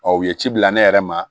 u ye ci bila ne yɛrɛ ma